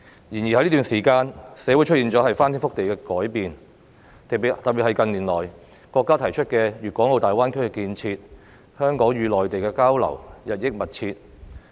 然而，在這段時間，社會出現了翻天覆地的改變，特別是國家近年提出的粵港澳大灣區建設，香港與內地的交流日益密切。